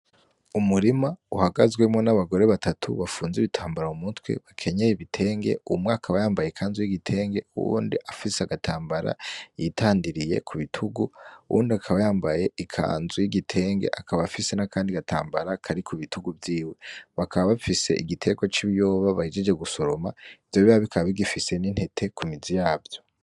Umurima uhagazemwo n'abagore batatu bafunze ibitambara mu mutwe bakenyeye ibitenge umwe akaba yambaye ikanzu y'igitenge uwundi afise agatambara ku bitugu uwundi akaba yambaye ikanzu y'igitenge akaba afise nakandi gatambara ku bitugu vyitwe ,bakaba bafise igiterwa c'ibiyoba bahejeje gusoroma bikaba bigifise n'intete ku mizi yavyo.